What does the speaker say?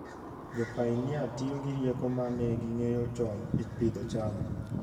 Jopainia tiyo gi rieko ma ne ging'eyo chon e pidho cham.